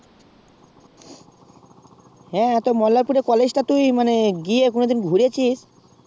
হ্যাঁ হ্যাঁ মল্লারপুর এর college টা তুই মানে গিয়ে কোনোদিন ঘুরেছিস